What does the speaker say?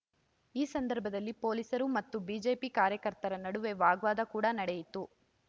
ಈ ಸಂದರ್ಭದಲ್ಲಿ ಪೊಲೀಸರು ಮತ್ತು ಬಿಜೆಪಿ ಕಾರ್ಯಕರ್ತರ ನಡುವೆ ವಾಗ್ವಾದ ಕೂಡ ನಡೆಯಿತು